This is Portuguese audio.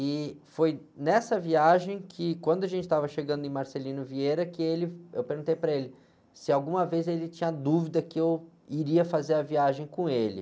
E foi nessa viagem que, quando a gente estava chegando em Marcelino Vieira, que ele, eu perguntei para ele se alguma vez ele tinha dúvida que eu iria fazer a viagem com ele.